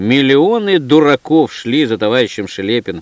миллионы дураков шли за товарищем шлепин